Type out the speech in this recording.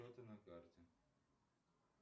на карте